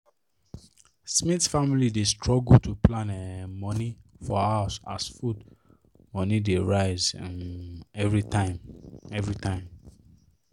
smith family dey struggle to plan um money for house as food money dey rise um every time every time